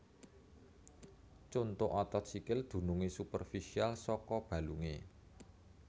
Conto Otot sikil dunungé superfisial saka balungé